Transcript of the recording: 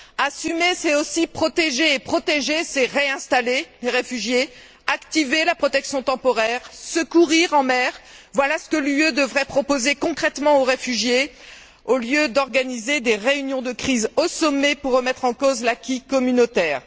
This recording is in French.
Assumer, c'est aussi protéger, et protéger, c'est réinstaller les réfugiés, activer la protection temporaire, secourir en mer. Voilà ce que l'Union devrait proposer, concrètement, aux réfugiés, au lieu d'organiser des réunions de crise au sommet pour remettre en cause l'acquis communautaire.